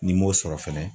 N'i m'o sɔrɔ fɛnɛ